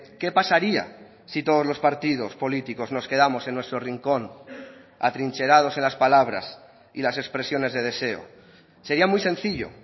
qué pasaría si todos los partidos políticos nos quedamos en nuestro rincón atrincherados en las palabras y las expresiones de deseo sería muy sencillo